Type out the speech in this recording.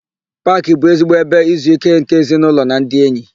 Paakị bụ ezigbo ebe izuíké nke ezinaụlọ na ndị enyi.